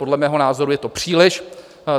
Podle mého názoru je to příliš.